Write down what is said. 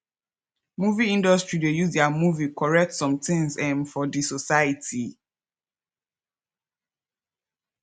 movie industry de use their movie correct somethings um for di society